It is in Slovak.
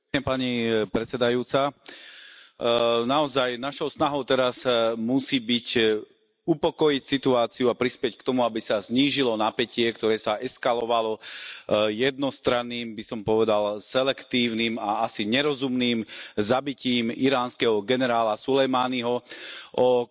Vážená pani predsedajúca, našou snahou teraz naozaj musí byť upokojiť situáciu a prispieť k tomu, aby sa znížilo napätie, ktoré sa eskalovalo jednostranným, povedal by som selektívnym a asi nerozumným zabitím iránskeho generála Sulejmáního o